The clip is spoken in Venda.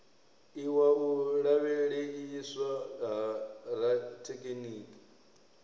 iwa u lavheieswa ha rathekiniki